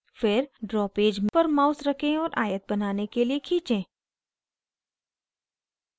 फिर draw page पर mouse रखें और आयत बनाने के लिए खींचें